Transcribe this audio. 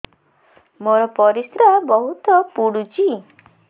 ମୋର ପରିସ୍ରା ବହୁତ ପୁଡୁଚି